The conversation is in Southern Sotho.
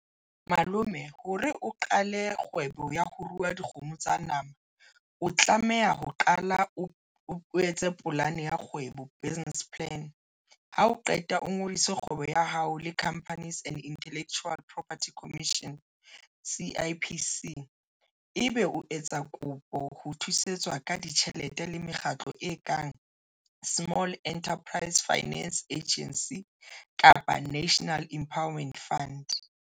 Malome hore o qale kgwebo ya ho ruwa dikgomo tsa nama, o tlameha ho qala o etse polane ya kgwebo business plan ha o qeta o ngodise kgwebo ya hao le Companies and Intellectual Property Commission, C_I_P_C ebe o etsa kopo ho thusetswa ka ditjhelete le mekgatlo e kang Small Enterprises Finance Agency kapa National Empowerment Fund.